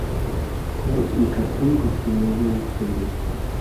найти картинку всемирная история